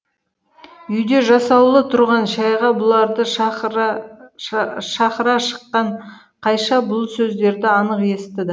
үйде жасаулы тұрған шайға бұларды шақыра шыққан қайша бұл сөздерді анық естіді